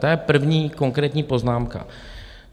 To je první konkrétní poznámka.